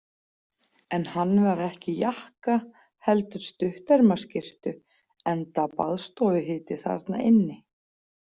En hann var ekki í jakka heldur stuttermaskyrtu enda baðstofuhiti þarna inni.